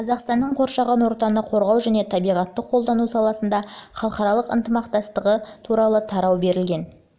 қазақстанның қоршаған ортаны қорғау және табиғатты қолдану саласындағы халықаралық ынтымақтастығы туралы тарау берілген